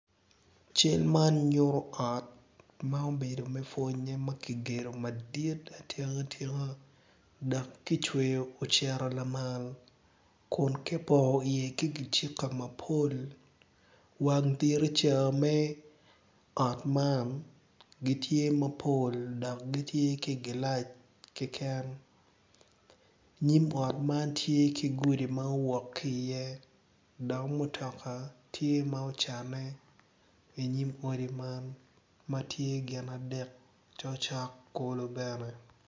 Cal man nyuto ot ma obedo me pwonye ma kigedo madit atika tika dok kicweyo ocito lamal kun kipongo iye ki kicika mapol wang diriza me ot man gitye mapol dok gitye ki gilac keken nyim ot man tye ki gudi ma owok ki iye dok mutoka tye ma ocanne inyim odi man ma tye gin adek cokcok kulo bene.